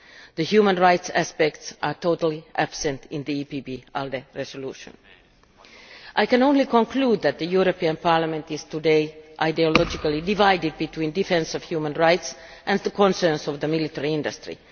The human rights aspects are totally absent in the EPP ALDE resolution. I can only conclude that the European Parliament is today ideologically divided between defensive human rights and the concerns of the military industry.